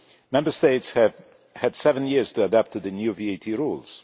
Member States have had seven years to adapt to the new VAT rules.